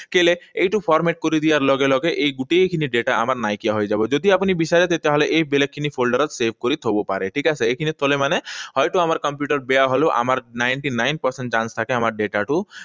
কেলে, এইটো format কৰি দিয়াৰ লগে লগে এই গোটেইখিনি data আমাৰ নাইকিয়া হৈ যাব। যদি আপুনি বিচাৰে তেতিয়াহলে এই বেলেগখিনি folder ত save কৰি থব পাৰে। ঠিক আছে? এইখিনিত থলে মানে হয়তো আমাৰ কম্পিউটাৰ বেয়া হলেও আমাৰ ninety nine percent chance থাকে, আমাৰ data টো